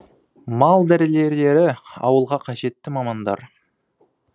мал дәрігерлері ауылға қажетті мамандар